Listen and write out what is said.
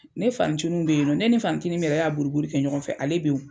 Ne fanin ncininw be yen nɔ. Ne ni n fanin ncinin mun y'a boliboli kɛ ɲɔgɔn fɛ ,ale be yen.